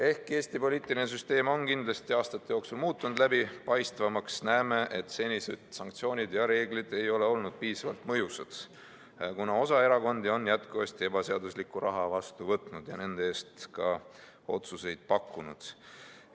Ehkki Eesti poliitiline süsteem on aastate jooksul kindlasti muutunud läbipaistvamaks, näeme, et senised sanktsioonid ja reeglid ei ole olnud piisavalt mõjusad, kuna osa erakondi on jätkuvasti ebaseaduslikku raha vastu võtnud ja nende eest ka otsuseid pakkunud.